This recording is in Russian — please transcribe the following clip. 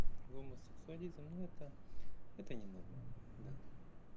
гомосексуализм ну это это ненормально да